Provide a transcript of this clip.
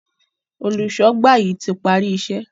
Olùṣọ́gbà yí tí parí iṣé